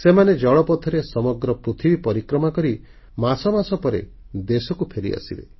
ସେମାନେ ଜଳପଥରେ ସମଗ୍ର ପୃଥିବୀ ପରିକ୍ରମା କରି ମାସ ମାସ ପରେ ଦେଶକୁ ଫେରିଆସିବେ